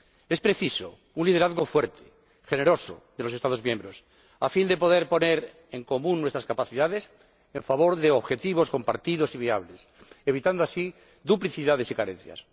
Es preciso un liderazgo fuerte, generoso, de los Estados miembros a fin de poder poner en común nuestras capacidades en favor de objetivos compartidos y viables, evitando así duplicidades y carencias.